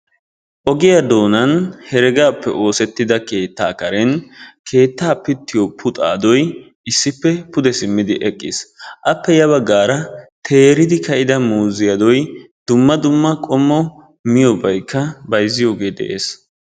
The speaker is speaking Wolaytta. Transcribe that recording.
Ogiyaa doonan heregaappe oosettida keettaa karen keettaa pittiyoo puxaadoy issippe pude simmidi eqqiis. appe ya baggaara teeridi ka"ida muuzziyaadoy dumma dumma qommo miyoobay bayzziyoogee de'ees.